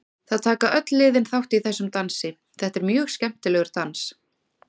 Það taka öll liðin þátt í þessum dansi, þetta er mjög skemmtilegur dans.